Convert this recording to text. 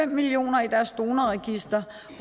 millioner i deres donorregister